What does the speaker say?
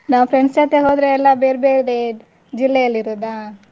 ನಾವು friends ಜೊತೆ ಹೋದ್ರೆ ಎಲ್ಲ ಬೇರ್ಬೇರೆ ಜಿಲ್ಲೆಯಲ್ಲಿರುದಾ.